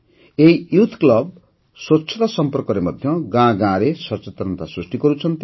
ଏହି youth club ସ୍ୱଚ୍ଛତା ସମ୍ପର୍କରେ ମଧ୍ୟ ଗାଁ ଗାଁରେ ସଚେତନତା ସୃଷ୍ଟି କରୁଛନ୍ତି